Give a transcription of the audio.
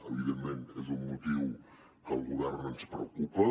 evidentment és un motiu que al govern ens preocupa